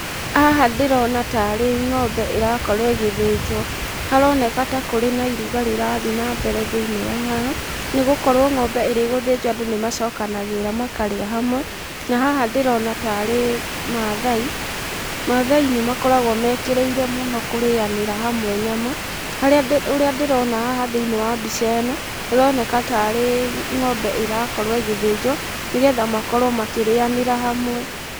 Haha ndĩrona tarĩ ng'ombe ĩrakorwo ĩgĩthĩnjwo. Haroneka ta kũrĩ na iruga rĩrathiĩ na mbere thĩinĩ wa haha, nĩ gũkorwo ng'ombe ĩrĩ gũthĩnjwo andũ nĩ macokanagĩrĩra makarĩa hamwe, na haha ndĩrona tarĩ maathai. Maathai nĩ makoragwo mekĩrĩire mũno kũrĩanĩra hamwe nyama. Ũrĩa ndĩrona haha thĩinĩ wa mbica ĩno, haroneka ta arĩ ng'ombe ĩrakorwo ĩgĩthĩnjwo, nĩgetha makorwo makĩrĩanĩra hamwe.